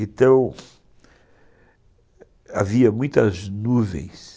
Então, havia muitas nuvens.